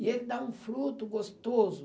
E ele dá um fruto gostoso.